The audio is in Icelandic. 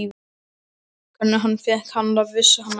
Hvernig hann fékk hana, vissi hann ekki.